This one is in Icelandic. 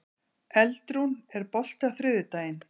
Eldrún, er bolti á þriðjudaginn?